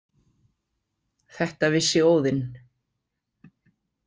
Þetta vissi Óðinn.